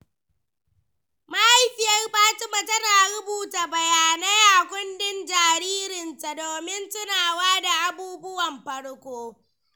Mahaifiyar Fatima tana rubuta bayanai a kundin jaririnta domin tunawa da abubuwan farko.